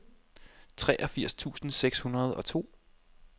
treogfirs tusind seks hundrede og to